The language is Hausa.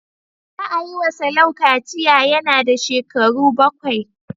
Za a yi wa Salau kaciya yana da shekaru bakwai.